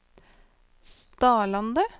Stadlandet